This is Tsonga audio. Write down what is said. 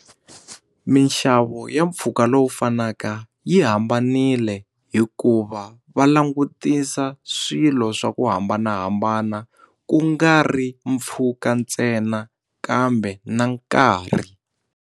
Minxavo ya mpfhuka lowu fanaka yi hambanile hikuva va langutisa swilo swa ku hambanahambana ku nga ri mpfhuka ntsena kambe na nkarhi.